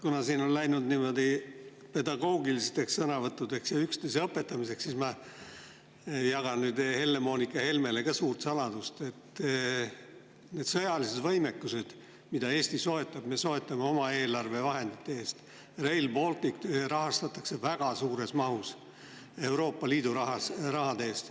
Kuna siin on läinud niimoodi pedagoogilisteks sõnavõttudeks ja üksteise õpetamiseks, siis ma jagan nüüd Helle-Moonika Helmele ka suurt saladust, et need sõjalised võimed, mida Eesti soetab, me soetame oma eelarvevahendite eest, Rail Balticut rahastatakse aga väga suures mahus Euroopa Liidu raha eest.